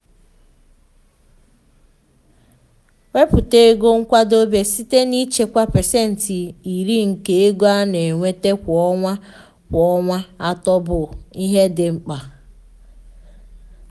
ịwepụta ego nkwadebe site n’ịchekwa pasentị iri nke ego a na-enweta kwa ọnwa kwa ọnwa atọ bụ ihe dị mkpa.